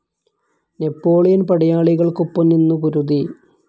Napoleon പടയാളികൾക്കൊപ്പം നിന്നു പൊരുതി.